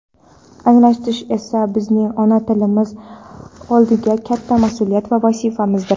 anglatish esa bizning ona tilimiz oldidagi katta mas’uliyat va vazifamizdir.